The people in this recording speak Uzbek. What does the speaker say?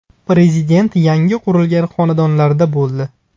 Prezident yangi qurilgan xonadonlarda bo‘ldi.